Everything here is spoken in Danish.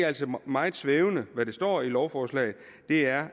altså meget svævende hvad der står i lovforslaget er